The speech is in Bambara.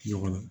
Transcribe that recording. Ɲɔgɔn